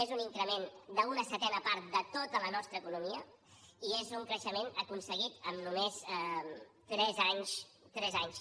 és un increment d’una setena part de tota la nostra economia i és un creixement aconseguit en només tres anys tres anys